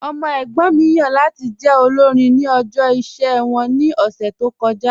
Ọmọ ẹ̀gbọ́n mi yan lati jẹ́ olórìn ni ọ̀jọ̀ iṣẹ wọn ni ọ̀ṣẹ̀ tó kọja